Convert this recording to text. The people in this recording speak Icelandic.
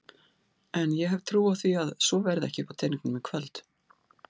En ég hef trú á því að svo verði ekki uppá teningnum í kvöld.